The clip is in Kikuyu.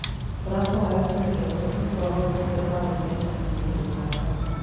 Tũrahoya kũrekerwo nĩ kwaga ũtungata wa Mpea kahindaini gaka.